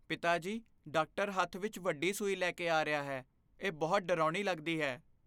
ਪਿਤਾ ਜੀ, ਡਾਕਟਰ ਹੱਥ ਵਿੱਚ ਵੱਡੀ ਸੂਈ ਲੈ ਕੇ ਆ ਰਿਹਾ ਹੈ ਇਹ ਬਹੁਤ ਡਰਾਉਣੀ ਲੱਗਦੀ ਹੈ